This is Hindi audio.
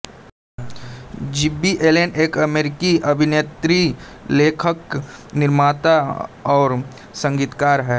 जिब्बी एलेन एक अमेरिकी अभिनेत्री लेखक निर्माता और संगीतकार है